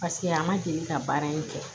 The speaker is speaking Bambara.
Paseke a ma deli ka baara in kɛ